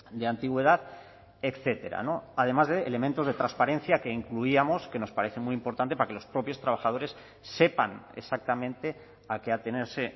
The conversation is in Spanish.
de antigüedad etcétera además de elementos de transparencia que incluíamos que nos parece muy importante para que los propios trabajadores sepan exactamente a qué atenerse